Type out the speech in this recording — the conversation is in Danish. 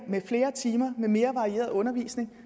med flere timer med mere varieret undervisning